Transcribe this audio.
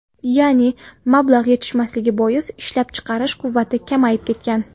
Ya’ni mablag‘ yetishmasligi bois, ishlab chiqarish quvvati kamayib ketgan.